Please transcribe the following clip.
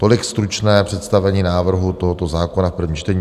Tolik stručné představení návrhu tohoto zákona v prvním čtení.